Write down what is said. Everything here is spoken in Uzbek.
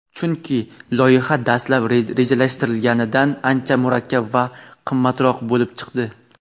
chunki loyiha dastlab rejalashtirilganidan ancha murakkab va qimmatroq bo‘lib chiqdi.